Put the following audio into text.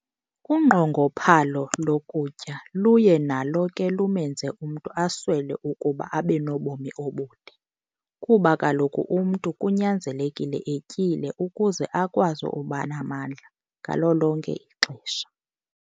Unqongophalo lokutya luye nalo ke lumenze umntu aswele ukuba abenobomi obude kuba kaloku umntu kunyanzelekile etyile ukuze akwazi ukuba namandla ngalo lonke ixesha.